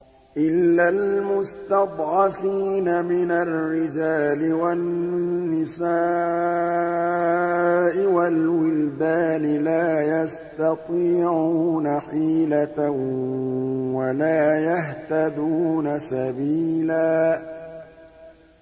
إِلَّا الْمُسْتَضْعَفِينَ مِنَ الرِّجَالِ وَالنِّسَاءِ وَالْوِلْدَانِ لَا يَسْتَطِيعُونَ حِيلَةً وَلَا يَهْتَدُونَ سَبِيلًا